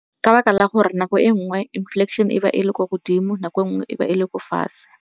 Ka baka la gore nako e nngwe e be e le kwa godimo, nako e nngwe e be e le ko fatshe.